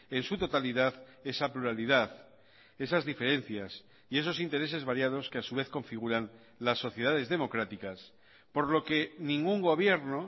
en su totalidad esa pluralidad esas diferencias y esos intereses variados que a su vez configuran las sociedades democráticas por lo que ningún gobierno